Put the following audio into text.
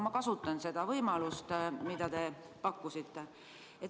Ma kasutangi seda võimalust, mida te pakkusite.